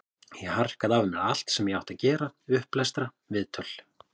Ég harkaði af mér allt sem ég átti að gera, upplestra, viðtöl.